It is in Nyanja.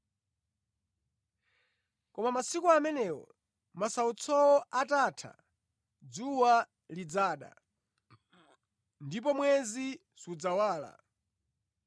“Koma masiku amenewo, masautsowo atatha, “ ‘dzuwa lidzada, ndipo mwezi sudzawala;